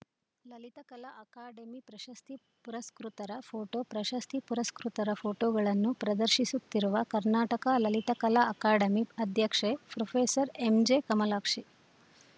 ಲಲಿತಕಲಾ academy ಪ್ರಶಸ್ತಿ ಪುರಸ್ಕೃತರ photo ಪ್ರಶಸ್ತಿ ಪುರಸ್ಕೃತರ ಫೋಟೋಗಳನ್ನು ಪ್ರದರ್ಶಿಸುತ್ತಿರುವ ಕರ್ನಾಟಕ ಲಲಿತಕಲಾ ಅಕಾಡೆಮಿ ಅಧ್ಯಕ್ಷೆ ಪ್ರೊಫೆಸರ್ ಎಂಜೆಕಮಲಾಕ್ಷಿ